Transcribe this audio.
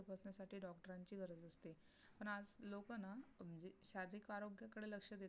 शारीरिक आरोग्याकडे लक्ष दे